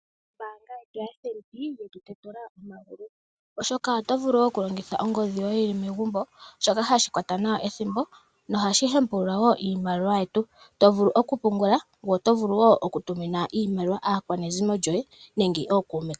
Ombaayetu yaFNB yetu tetu la omagulu oshoka oto vulu oku longitha ongodhi yoye wuli megumbo, shoka hashi kwata nawa ethimbo nohashi hempulula nawa iimaliwa yetu. To vulu oku pungula, ngoye oto vulu wo oku pa iimaliwa aakwanezimo lyoye nenge ookuume.